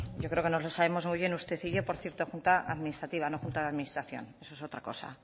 yo creo que nos lo sabemos muy bien usted y yo por cierto junta administrativa no junta de administración eso es otra cosa